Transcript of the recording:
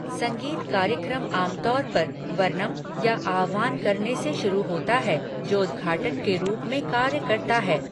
संगीत कार्यक्रम आमतौर पर वर्नम या आह्वान करने से शुरू होता है जो उद्घाटन के रूप में कार्य करता है।